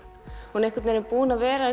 hún er búin að vera